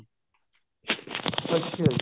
ਅੱਛਾ ਜੀ